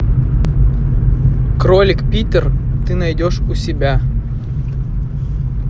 кролик питер ты найдешь у себя